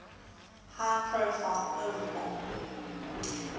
high profile overbore